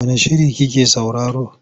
Wane shiri like sauraro?